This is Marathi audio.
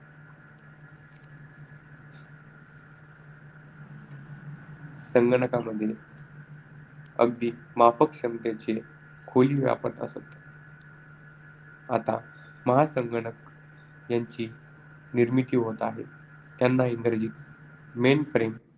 संगणकामध्ये अगदी माफक क्षमतेचे खोली व्यापत असत. आता महासंगणक यांची निर्मिती होत आहे. त्यांना इंग्रजीत mainframe